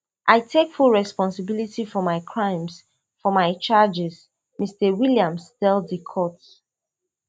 i take full responsibility for my crimes for my charges mr williams tell di court